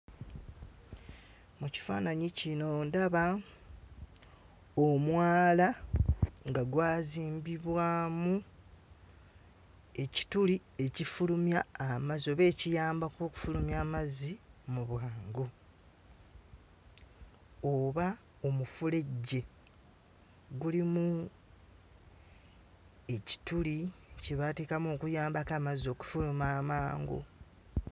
Mu kifaananyi kino ndaba omwala nga gwazimbibwamu ekituli ekifulumya amazzi oba ekiyambako okufulumya amazzi mu bwangu oba omufulejje. Gulimu ekituli kye baateekamu okuyambako amazzi okufuluma amangu.